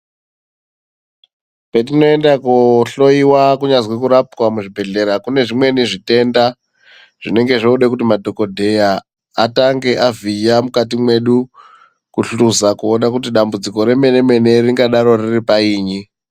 Petinoenda kohloiwa kunyazwi kurapwa muzvibhedhleya kune zvimweni zvitenda zvinenge zvoda kuti madhogodheya atange avhiya mukati mwedu. Kuhluza koona kuti dambidziko remene-mene ringadaro riri painyi.